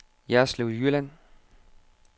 Jerslev Jylland